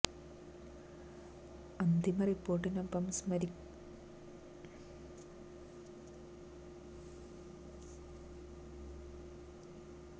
അന്തിമ റിപ്പോര്ട്ടിനൊപ്പം സമര്പ്പിക്കാത്ത രേഖകള് ഹാജരാക്കാൻ കോടതി നിര്ദ്ദേശിച്ചെങ്കിലും എല്ലാ രേഖകളും ഹാജരാക്കിയിരുന്നില്ല